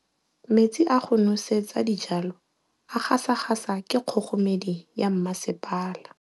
Metsi a go nosetsa dijalo a gasa gasa ke kgogomedi ya masepala.